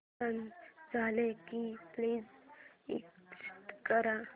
गाणं झालं की प्लीज एग्झिट कर